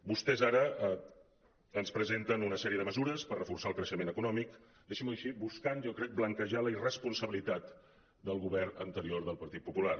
vostès ara ens presenten una sèrie de mesures per reforçar el creixement econòmic deixin·m’ho dir així buscant jo crec blanquejar la irresponsabilitat del govern anterior del partit popular